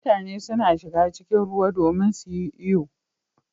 Mutane suna shiga cikin ruwa domin su yi iyo.